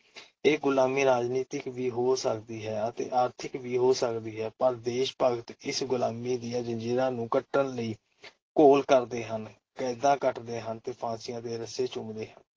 ਇਹ ਗੁਲਾਮੀ ਰਾਜਨੀਤਿਕ ਵੀ ਹੋ ਸਕਦੀ ਹੈ ਅਤੇ ਆਰਥਿਕ ਵੀ ਹੋ ਸਕਦੀ ਹੈ । ਪਰ ਦੇਸ਼-ਭਗਤ ਇਸ ਗੁਲਾਮੀ ਦੀਆਂ ਜ਼ੰਜੀਰਾਂ ਨੂੰ ਕੱਟਣ ਲਈ ਘੋਲ ਕਰਦੇ ਹਨ, ਕੈਦਾਂ ਕੱਟਦੇ ਹਨ ਤੇ ਫਾਂਸੀਆਂ ਦੇ ਰੱਸੇ ਚੁੰਮਦੇ ਹਨ ।